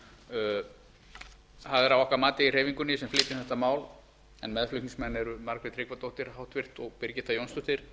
það er að okkar mati í hreyfingunni sem flytjum þetta mál en meðflutningsmenn eru háttvirtir þingmenn margrét tryggvadóttir og birgitta jónsdóttir